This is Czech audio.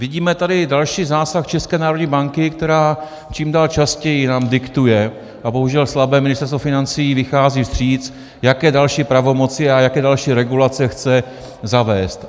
Vidíme tady další zásah České národní banky, která čím dál častěji nám diktuje, a bohužel slabé Ministerstvo financí jí vychází vstříc, jaké další pravomoci a jaké další regulace chce zavést.